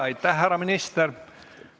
Aitäh, härra minister!